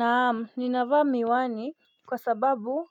Naam, ninavaa miwani kwa sababu